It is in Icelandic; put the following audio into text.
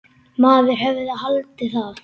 Maður hefði haldið það.